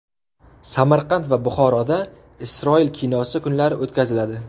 Samarqand va Buxoroda Isroil kinosi kunlari o‘tkaziladi.